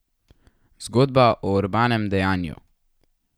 Zgodba o Urbanem dejanju.